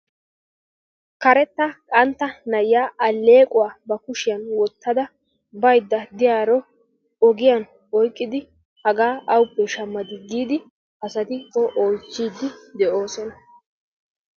karetta qantta na'iya aleequwa ba kushiyan wotada bayda diyaro ogiyan oyqqidi hagaa awuppe shamadii giidi asati o oychiidi de'oosna.